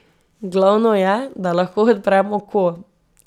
Glavno je, da lahko odprem oko.